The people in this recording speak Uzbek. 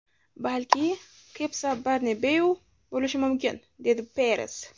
Balki, Cepsa Bernabeu bo‘lishi mumkin”, - dedi Peres.